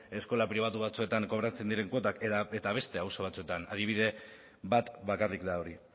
eskola pribatu batzuetan kobratzen diren kuotak eta beste auzo batzuetan adibide bat bakarrik da hori